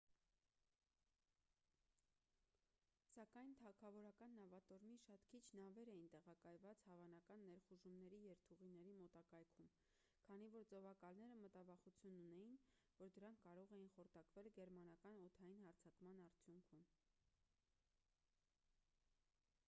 սակայն թագավորական նավատորմի շատ քիչ նավեր էին տեղակայված հավանական ներխուժումների երթուղիների մոտակայքում քանի որ ծովակալները մտավախություն ունեին որ դրանք կարող էին խորտակվել գերմանական օդային հարձակման արդյունքում